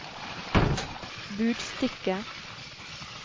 budstikke